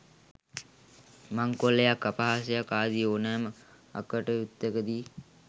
මංකොල්ලයක් අපහාසයක් ආදී ඕනෑම අකටයුත්තක දී